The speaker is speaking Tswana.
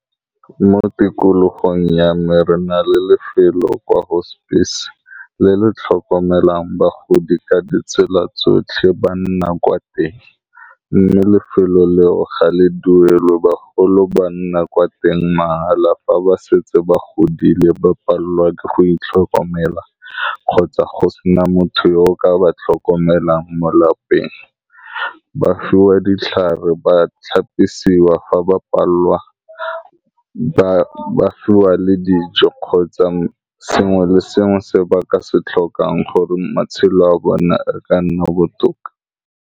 Mo tikologong ya me re na le lefelo kwa hospice le le tlhokomelang bagodi ka ditsela tsotlhe ba nna kwa teng, mme lefelo leo ga le duelwa bagolo ba nna kwa teng mahala, fa ba setse ba godile ba palelwa ke go itlhokomela, kgotsa go sena motho yo o ka ba tlhokomelang mo lapeng ba fiwa ditlhare ba tlhapisiwa fa ba palelwa ba fiwa le dijo kgotsa sengwe le sengwe se baka se tlhokang gore matshelo a bona a ka nna botoka.